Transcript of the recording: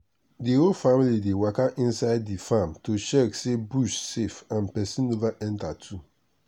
the whole family dey waka inside the farm to check say bush safe and person never enter too.